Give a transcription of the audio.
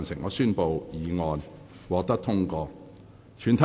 我宣布議案獲得通過。